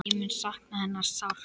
Ég mun sakna hennar sárt.